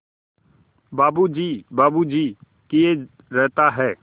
बाबू जी बाबू जी किए रहता है